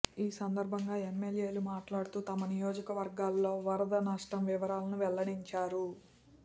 ఈ సంద ర్భంగా ఎమ్మెల్యేలు మాట్లాడుతూ తమ నియోజకవర్గాల్లో వరద నష్టం వివరాలను వెల్లడించారు